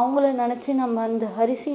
அவங்களை நினைச்சு நம்ம அந்த அரிசி